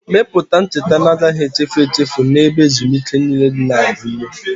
Mepụta ncheta agaghị echefu echefu na ebe ezumike niile na-agụnye.